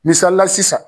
Misalila sisan